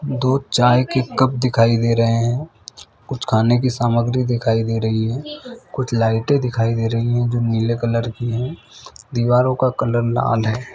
दो चाय के कप दिखाई दे रहे है कुछ खाने की सामग्री दिखाई दे रही है कुछ लाइटे दिखाई दे रही है जो नीले कलर की है दीवारों का कलर लाल है।